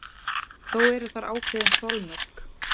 Þó eru þar ákveðin þolmörk.